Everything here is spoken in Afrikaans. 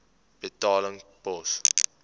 betaling pos